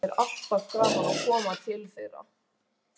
Það er alltaf gaman að koma til þeirra, sagði hún.